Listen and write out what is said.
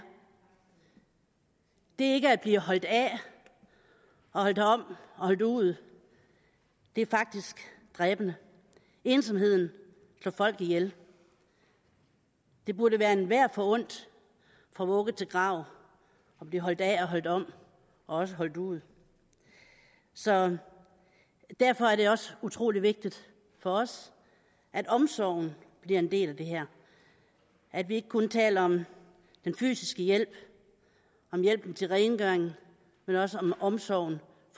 det ikke at blive holdt af og holdt om og holdt ud er faktisk dræbende ensomheden slår folk ihjel det burde være enhver forundt fra vugge til grav at blive holdt af og holdt om og også holdt ud så derfor er det også utrolig vigtigt for os at omsorgen bliver en del af det her at vi ikke kun taler om den fysiske hjælp om hjælpen til rengøring men også om omsorgen